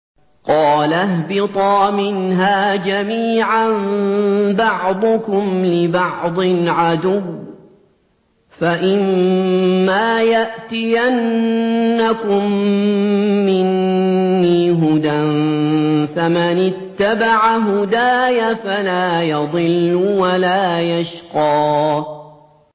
قَالَ اهْبِطَا مِنْهَا جَمِيعًا ۖ بَعْضُكُمْ لِبَعْضٍ عَدُوٌّ ۖ فَإِمَّا يَأْتِيَنَّكُم مِّنِّي هُدًى فَمَنِ اتَّبَعَ هُدَايَ فَلَا يَضِلُّ وَلَا يَشْقَىٰ